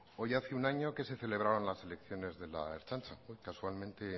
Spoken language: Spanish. hoy hace un año que se celebraban las elecciones de la ertzaintza hoy casualmente